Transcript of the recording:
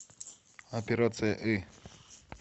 операция ы